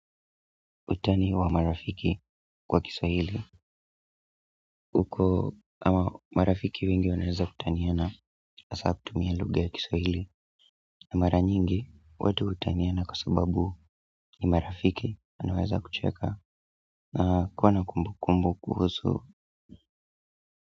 Utani wa marafiki kwa Kiswahili. Huko ama marafiki wengi wanaeza kutaniana hasa kutumia luga ya Kiswahili. Na mara nyingi watu hutaniana kwa sababu ni marafiki wanaweza kucheka na kuwa na kumbu kumbu kuhusu.